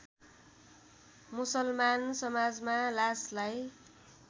मुसलमान समाजमा लासलाई